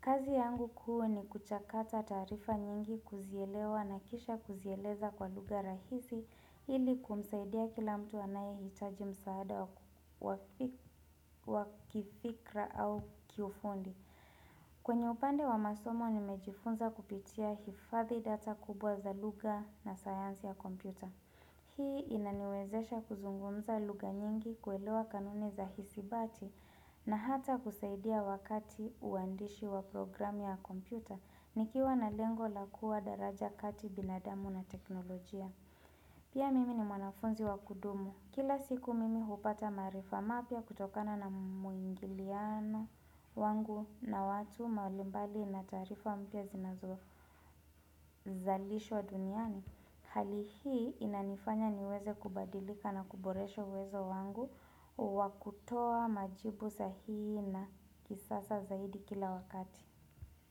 Kazi yangu kuu ni kuchakata taarifa nyingi kuzielewa na kisha kuzieleza kwa lugha rahisi ili kumsaidia kila mtu anaye hitaji msaada wa kifikra au kifundi. Kwenye upande wa masomo nimejifunza kupitia hifadhi data kubwa za lugha na sayansi ya kompyuta. Hii inaniwezesha kuzungumza lugha nyingi kuelewa kanuni za hisibati na hata kusaidia wakati uandishi wa programu ya kompyuta. Nikiwa na lengo la kuwa daraja kati binadamu na teknolojia. Pia mimi ni mwanafunzi wa kudumu. Kila siku mimi hupata maarifa mapya kutokana na muingiliano wangu na watu mahali mbali na taarifa mpya zinazo zalishwa duniani hali hii inanifanya niweze kubadilika na kuboresho uwezo wangu wa kutoa majibu sahihi na kisasa zaidi kila wakati.